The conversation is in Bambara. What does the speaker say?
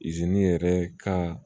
yɛrɛ ka